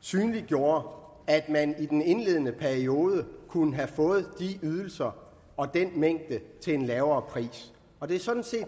synliggjorde at man i den indledende periode kunne have fået de ydelser og den mængde til en lavere pris og det er sådan set